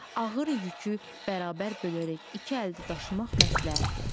Ağır yükü bərabər bölərək iki əldə daşımaq məsləhətdir.